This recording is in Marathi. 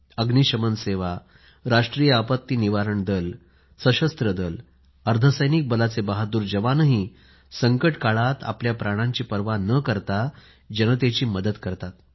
अग्नीशमन सेवा राष्ट्रीय आपत्ती निवारण दल सशस्त्र दल अर्ध सैनिक बलाचे बहादूर जवान संकट काळात आपल्या प्राणाची पर्वा न करता जनतेची मदत करतात